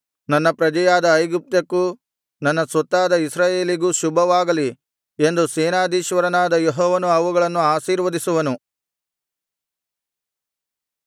ನನ್ನ ಪ್ರಜೆಯಾದ ಐಗುಪ್ತಕ್ಕೂ ನನ್ನ ಕೈಯಿಂದ ಸೃಷ್ಟಿಸಲ್ಪಟ್ಟ ಅಶ್ಶೂರಕ್ಕೂ ನನ್ನ ಸ್ವತ್ತಾದ ಇಸ್ರಾಯೇಲಿಗೂ ಶುಭವಾಗಲಿ ಎಂದು ಸೇನಾಧೀಶ್ವರನಾದ ಯೆಹೋವನು ಅವುಗಳನ್ನು ಆಶೀರ್ವದಿಸುವನು